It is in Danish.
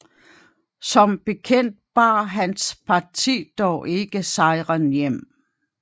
Som bekendt bar hans parti dog ikke sejren hjem